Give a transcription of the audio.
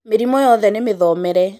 mĩrimũ yothe nĩmĩthomere